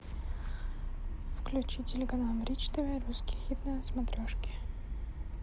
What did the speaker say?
включи телеканал бридж тв русский хит на смотрешке